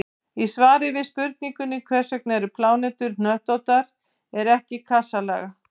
Í svari við spurningunni Hvers vegna eru plánetur hnöttóttar en ekki kassalaga?